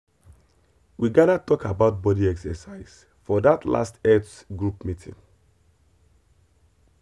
we gather talk about body exercise for that last health group meeting.